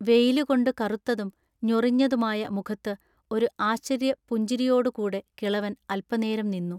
വെയില് കൊണ്ട് കറുത്തതും ഞൊറിഞ്ഞതുമായ മുഖത്ത് ഒരു ആശ്ചര്യ പുഞ്ചിരിയോടു കൂടെ കിളവൻ അല്പനേരം നിന്നു.